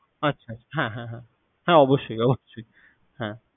আচ্ছা, হ্যাঁ, হ্যাঁ হ্যাঁ। হ্যাঁ অবশ্যই অবশ্যই। হ্যাঁ।